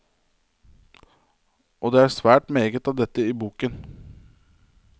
Og det er svært meget av dette i boken.